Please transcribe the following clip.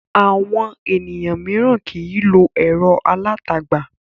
Àwọn ènìyàn mìíràn kì í lo ẹ̀rọ alátagbà.